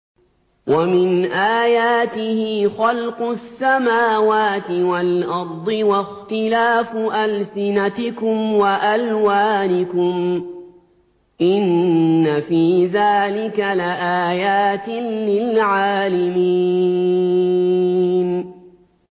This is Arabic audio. وَمِنْ آيَاتِهِ خَلْقُ السَّمَاوَاتِ وَالْأَرْضِ وَاخْتِلَافُ أَلْسِنَتِكُمْ وَأَلْوَانِكُمْ ۚ إِنَّ فِي ذَٰلِكَ لَآيَاتٍ لِّلْعَالِمِينَ